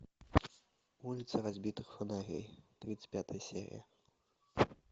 улица разбитых фонарей тридцать пятая серия